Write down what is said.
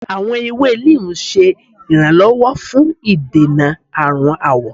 Awọn ewe Neem ṣe iranlọwọ fun idena arun awọ.